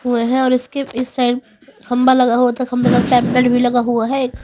हुए हैं और इसके इस साइड खंभा लगा हुआ था खम्भे का भी लगा हुआ है।